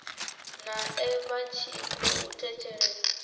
nae vha tshi khou thetshelesa